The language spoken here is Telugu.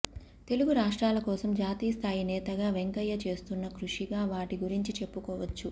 తెలుగు రాష్ట్రాల కోసం జాతీయ స్థాయి నేతగా వెంకయ్య చేస్తున్న కృషిగా వాటి గురించి చెప్పుకోవచ్చు